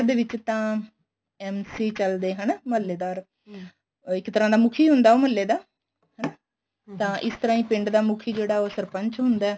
ਦੇ ਵਿੱਚ ਤਾਂ MC ਚੱਲਦੇ ਹਨਾਂ ਮਹੱਲੇਦਾਰ ਇੱਕ ਤਰ੍ਹਾਂ ਦਾ ਮੁੱਖੀ ਹੁੰਦਾ ਉਹ ਮਹੱਲੇ ਦਾ ਹਨਾ ਤਾਂ ਇਸ ਤਰ੍ਹਾਂ ਪਿੰਡ ਦਾ ਮੁੱਖੀ ਜਿਹੜਾ ਸਰਪੰਚ ਹੁੰਦਾ